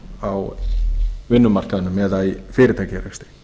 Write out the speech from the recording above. á vinnumarkaðnum eða í fyrirtækjarekstri